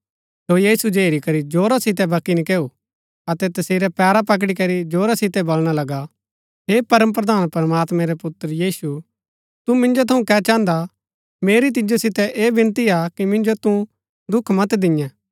सो यीशु जो हेरी करी जोरा सितै बकी नकैऊ अतै तसेरै पैरा पकडी करी जोरा सितै वलणा लगा हे परमप्रधान प्रमात्मैं रै पुत्र यीशु तु मिन्जो थऊँ कै चाहन्दा मेरी तिजो सितै ऐह विनती हा कि मिन्जो तू दुख मत दिन्यै